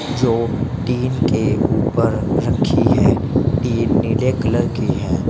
जो टीन के ऊपर रखी है टीन नीले कलर की है।